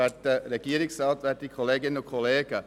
Ich erteile das Wort Martin Schlup.